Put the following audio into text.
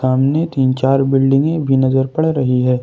सामने तीन चार बिल्डिंगे भी नजर पड़ रही है।